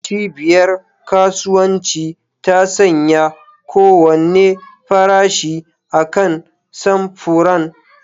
Cibiyar kasuwanci ta sanya kowane farashi akan samfuran.